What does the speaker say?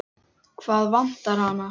Hvað vantar hana?